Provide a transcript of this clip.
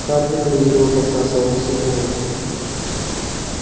хардин лениво посасывал сигару